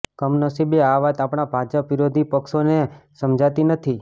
કમનસીબે આ વાત આપણા ભાજપ વિરોધી પક્ષોને સમજાતી નથી